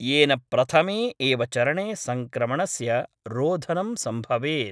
येन प्रथमे एव चरणे संक्रमणस्य रोधनम् संभवेत्।